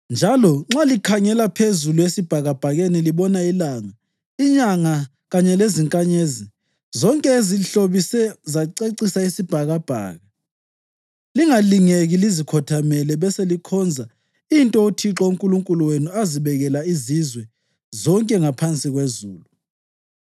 Njalo nxa likhangela phezulu esibhakabhakeni libona ilanga, inyanga kanye lezinkanyezi, zonke ezihlobise zacecisa isibhakabhaka, lingalingeki lizikhothamele beselikhonza izinto uThixo uNkulunkulu wenu azibekela izizwe zonke ngaphansi kwezulu.